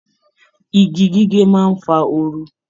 Igi gige má ń fa oru